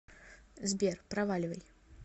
сбер проваливай